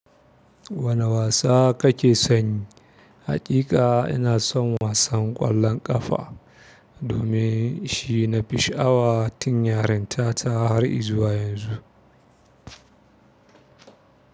Wani wasa kake son yi? Haƙiƙa ina son wasan ƙwallon ƙafa domin shi nafi sha'awa tun yarintata har izuwa yanzu.